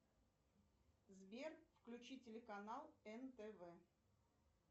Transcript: сбер включи телеканал нтв